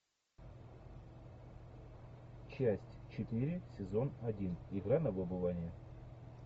часть четыре сезон один игра на выбывание